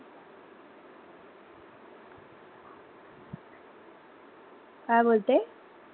काय बोलते?